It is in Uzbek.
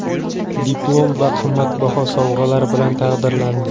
Diplom va qimmatbaho sovg‘alar bilan taqdirlandi.